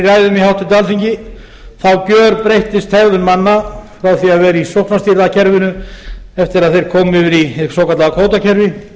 ræðum í háttvirtu alþingi þá gerbreyttist hegðun manna frá því að vera í sóknarstýrða kerfinu eftir að þeir komu yfir í hið svo kallaða kvótakerfi